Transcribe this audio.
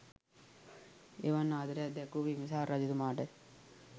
එවන් ආදරයක් දැක්වූ බිම්බිසාර රජතුමාට